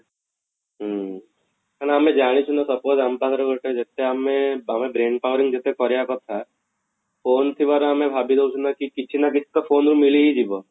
ହୁଁ କାଇଁ ନା ଜାଣିଛୁ ନା suppose ଆମ ପାଖରେ ଗୋଟେ ଯତେ ଆମେ power brain powering ଯତେ ଆମେ କରିବା କଥା phone ଥିବାରୁ ଆମେ ଭାବିଦଉଛୁ ନା କି କିଛି ନା କିଛି ତ phone ରୁ ମିଳି ହିଁ ଯିବ